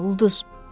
Sönmə ulduz.